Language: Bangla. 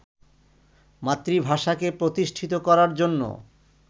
মাতৃভাষাকে প্রতিষ্ঠিত করার জন্য